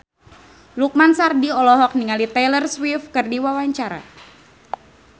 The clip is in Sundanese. Lukman Sardi olohok ningali Taylor Swift keur diwawancara